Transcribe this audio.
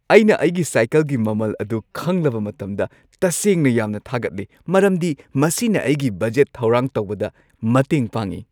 ꯑꯩꯅ ꯑꯩꯒꯤ ꯁꯥꯢꯀꯜꯒꯤ ꯃꯃꯜ ꯑꯗꯨ ꯈꯪꯂꯕ ꯃꯇꯝꯗ ꯇꯁꯦꯡꯅ ꯌꯥꯝꯅ ꯊꯥꯒꯠꯂꯤ ꯃꯔꯝꯗꯤ ꯃꯁꯤꯅ ꯑꯩꯒꯤ ꯕꯖꯦꯠ ꯊꯧꯔꯥꯡ ꯇꯧꯕꯗ ꯃꯇꯦꯡ ꯄꯥꯡꯉꯤ ꯫